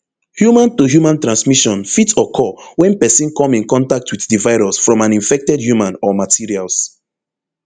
human to human transmission fit occur wen pesin come in contact wit di virus from an infected human or materials